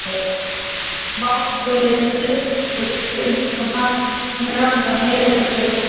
Báturinn lyftist upp, hann hrapar niður, peysa